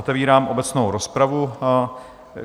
Otevírám obecnou rozpravu.